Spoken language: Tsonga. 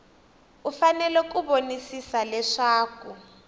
u fanele ku vonisisa leswaku